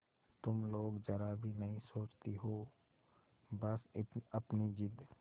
तुम लोग जरा भी नहीं सोचती हो बस अपनी जिद